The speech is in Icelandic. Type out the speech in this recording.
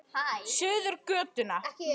Suður götuna.